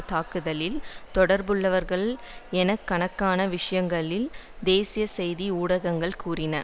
தாக்குதலில் தொடர்புள்ளவர்கள் என எண்ணுக் கணக்கான விஷயங்களில் தேசிய செய்தி ஊடகங்கள் கூறின